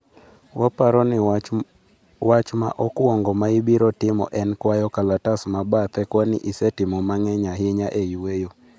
waparo ni wach ma okwongo maibiro timo en kuayo kalatas mabathe kwani isetimo mang'eny ahinya e yueyo.